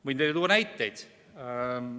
Võin teile tuua näiteid.